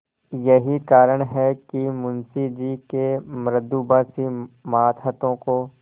यही कारण है कि मुंशी जी के मृदुभाषी मातहतों को